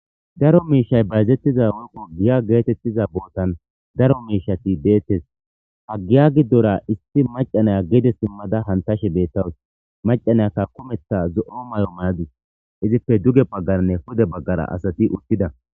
daro miishay bayzettiza woykko giya geetettiza bootan daro miishati deettes ha giya giddora isti macanaya geede simmada hantashe bettawus macanayakka kumetha zo7o mayo maadis izife duge baggarnne hude baggara asati uttida